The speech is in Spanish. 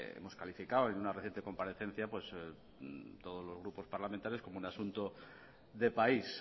hemos calificado en una reciente comparecencia pues todos los grupos parlamentarios como un asunto de país